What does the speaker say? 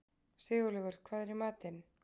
Sigurlaugur, hvað er í matinn?